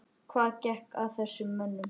Hvað gekk að þessum mönnum?